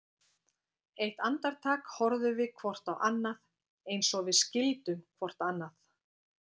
Eitt andartak horfðum við hvort á annað, eins og við skildum hvort annað.